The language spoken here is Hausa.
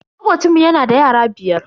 Makocinmu yana da yara biyar.